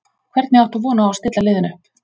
Hvernig áttu von á að stilla liðinu upp?